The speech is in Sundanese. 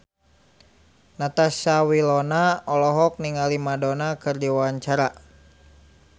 Natasha Wilona olohok ningali Madonna keur diwawancara